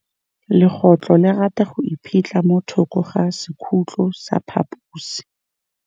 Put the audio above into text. Legôtlô le rata go iphitlha mo thokô ga sekhutlo sa phaposi.